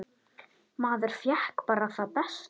Maður fékk bara það besta.